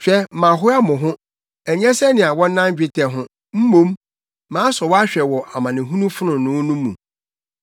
Hwɛ mahoa mo ho, ɛnyɛ sɛnea wɔnan dwetɛ ho; mmom, masɔ wo ahwɛ wɔ amanehunu fononoo mu.